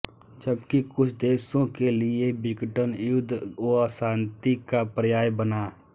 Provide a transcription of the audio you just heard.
जबकि कुछ देशों के लिए विघटन युद्ध व अशांति का पर्याय बना